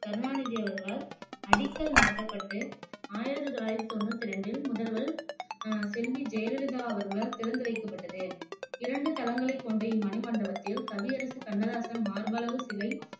கருணாநிதி அவர்களால் அடிக்கல் நாட்டப்பட்டு ஆயிரத்தி தொள்ளாயிரத்தி தொண்ணுத்தி ரெண்டில் முதல்வர் அஹ் செல்வி ஜெயலலிதா அவர்களால் திறந்து வைக்கப்பட்டது இரண்டு தளங்களைக் கொண்ட இம்மணிமண்டபத்தில் கவியரசு கண்ணதாசன் மார்பளவு சிலை